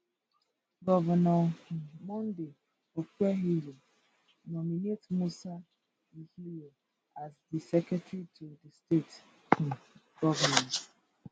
govnor um monday okpebholo nominate musa ikhilor as di secretary to di state um goment